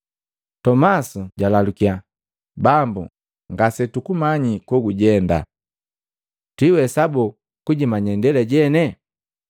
Tomasi jwalalukiya, “Bambu, ngase tukumanyi kogujenda, twiwesabo kujimanya indela jene?”